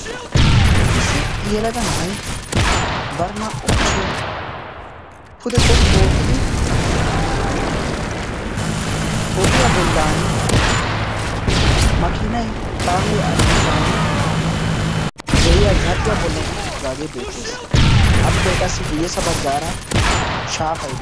Issi yelaga na7ay barinaa77u kushiyaa pude xoqqu oottidi ogiyaa bollan makinaa kaamee al7oosan de7iya zarphphiyaa bollan unttdagee beettees appe qassi guyyessa baggaara shaafay.